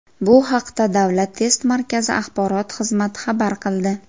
Bu haqda Davlat test markazi axborot xizmati xabar qildi .